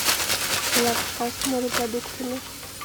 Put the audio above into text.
лапша с морепродуктами